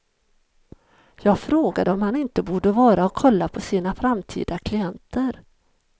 Jag frågade om han inte borde vara och kolla på sina framtida klienter.